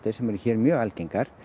sem eru hér mjög algengar